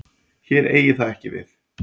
Hér eigi það ekki við.